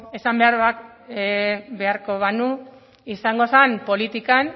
esan beharko banu izango zen politikan